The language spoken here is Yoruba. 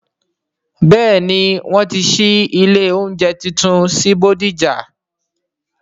Bẹ́ẹ̀ni, wọn ti ṣí ilé oúnjẹ tuntun sí bódìjà